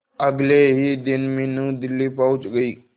अगले ही दिन मीनू दिल्ली पहुंच गए